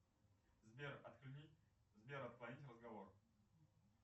сбер отклонить разговор